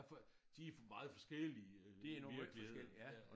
Hvad for de meget forskellige øh virkeligheden ja